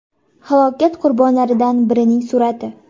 Halokat qurbonlaridan birining surati.